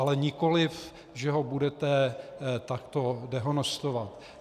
Ale nikoliv, že ho budete takto dehonestovat.